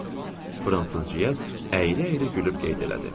Fransız Cyez əyilə-əyilə gülüb qeyd elədi.